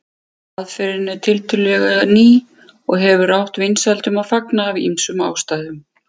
Aðferðin er tiltölulega ný og hefur átt vinsældum að fagna af ýmsum ástæðum.